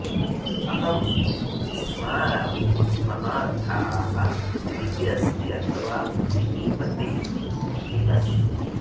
अहं विस्मारामि महारथाः इति अस्ति अथवा पृथिविपते इति अस्ति